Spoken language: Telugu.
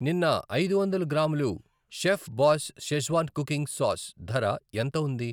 నిన్న ఐదు వందల గ్రాములు chef boss Schezwan cooking sauce ధర ఎంత ఉంది?